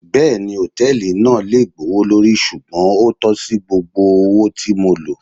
Bẹẹni, hotẹẹli naa jẹ gbowolori ṣugbọn o tọsi gbogbo owo ti mo lo